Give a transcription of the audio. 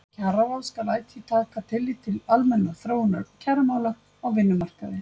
Kjararáð skal ætíð taka tillit til almennrar þróunar kjaramála á vinnumarkaði.